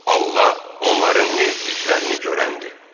Allah onların nə etdiklərini görəndir.